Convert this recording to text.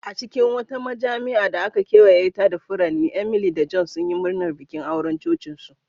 A cikin wata majami'a da aka ƙawata da furanni, Emily da John sunyi murnar bikin auren cocinsu.